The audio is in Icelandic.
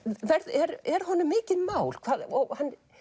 er er honum mikið mál og